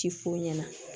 Ti f'u ɲɛna